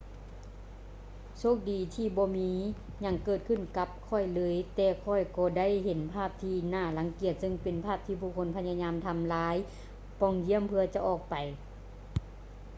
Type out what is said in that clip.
ໂຊກດີທີ່ບໍ່ມີຫຍັງເກີດຂື້ນກັບຂ້ອຍເລີຍ ແຕ່ຂ້ອຍກໍໄດ້ເຫັນພາບທີ່ໜ້າລັງກຽດເຊິ່ງເປັນພາບທີ່ຜູ້ຄົນພະຍາຍາມທຳລາຍປ່ອງຢ້ຽມເພື່ອຈະອອກໄປ